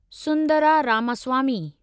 Sundara Ramaswamy